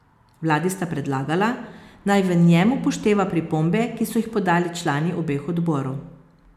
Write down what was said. Vladi sta predlagala, naj v njem upošteva pripombe, ki so jih podali člani obeh odborov.